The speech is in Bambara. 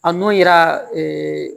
A nun yira